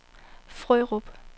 Frørup